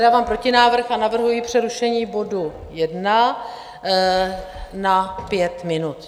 Dávám protinávrh a navrhuji přerušení bodu 1 na pět minut.